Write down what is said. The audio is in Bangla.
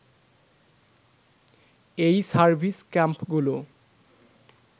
এই সার্ভিস ক্যাম্পগুলো